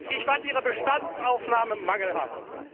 Ich fand Ihre Bestandsaufnahme mangelhaft.